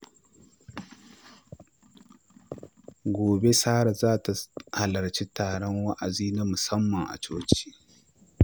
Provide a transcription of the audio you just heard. Gobe, Sarah za ta halarci taron wa’azi na musamman a coci.